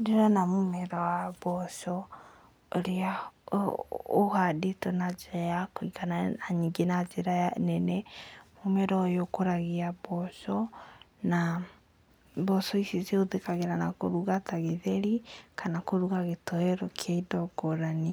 Ndĩrona mũmera wa mboco ũrĩa ũhandĩtwo na njĩra ya kũiganana na ningĩ na njĩra nene, mũmera ũyũ ũkũragia mboco na mboco ici cihũthĩkaga na kũruga ta gĩtheri, kana kũruga gĩtowero kĩa indo ngũrani.